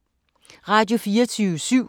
Radio24syv